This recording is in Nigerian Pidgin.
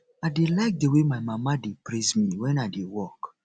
i dey like the way my mama dey praise me wen i dey work